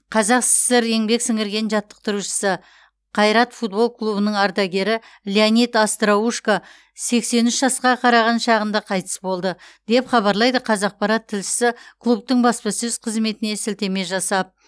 қазақ сср еңбек сіңірген жаттықтырушысы қайрат футбол клубының ардагері леонид остроушко сексен үш жасқа қараған шағында қайтыс болды деп хабарлайды қазақпарат тілшісі клубтың баспасөз қызметіне сілтеме жасап